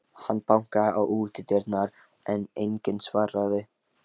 Hann bankaði á útidyrnar, en enginn svaraði.